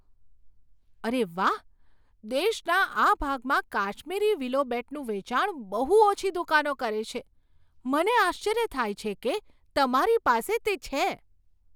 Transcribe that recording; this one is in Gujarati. અરે વાહ! દેશના આ ભાગમાં કાશ્મીરી વિલો બેટનું વેચાણ બહુ ઓછી દુકાનો કરે છે. મને આશ્ચર્ય થાય છે કે તમારી પાસે તે છે.